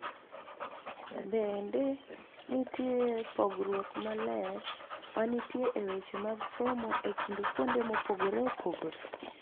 Bende, nitie pogruok maler ma nitie e weche mag somo e kind kuonde mopogore opogore.